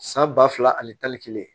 San ba fila ani tan ni kelen